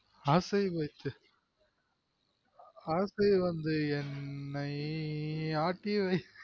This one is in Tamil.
ஆசை வச்சு ஆசை வந்து என்னை ஆட்டிவைஸ்